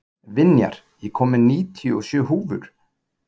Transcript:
Vinjar, ég kom með níutíu og sjö húfur!